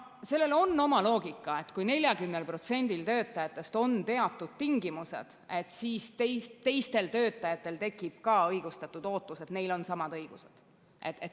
Sellel on oma loogika, et kui 40%‑l töötajatest on teatud tingimused, siis teistel töötajatel tekib ka õigustatud ootus, et neil on samad õigused.